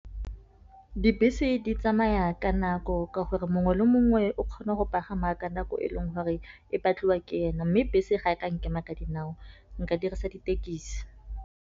Dibese di tsamaya ka nako, ka gore mongwe le mongwe o kgona go pagama ka nako e leng gore e batliwa ke ene. Mme bese ga e ka nkema ka dinao nka dirisa ditekisi.